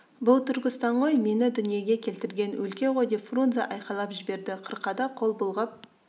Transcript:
бұл түркістан ғой мені дүниеге келтірген өлке ғой деп фрунзе айқайлап жіберді қырқада қол бұлғап